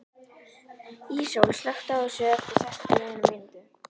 Íssól, slökktu á þessu eftir sextíu og eina mínútur.